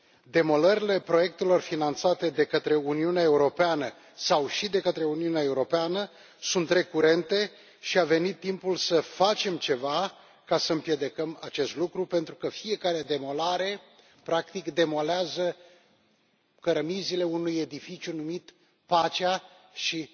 Demolările proiectelor finanțate de către Uniunea Europeană sau și de către Uniunea Europeană sunt recurente și a venit timpul să facem ceva ca să împiedicăm acest lucru, pentru că fiecare demolare, practic, demolează cărămizile unui edificiu numit pacea și